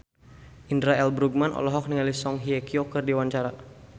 Indra L. Bruggman olohok ningali Song Hye Kyo keur diwawancara